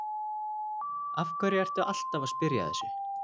Af hverju ertu alltaf að spyrja að þessu?